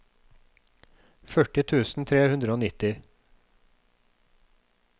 førti tusen tre hundre og nitti